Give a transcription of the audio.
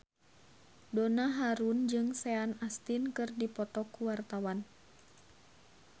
Donna Harun jeung Sean Astin keur dipoto ku wartawan